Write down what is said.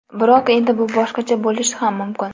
Biroq, endi bu boshqacha bo‘lishi ham mumkin.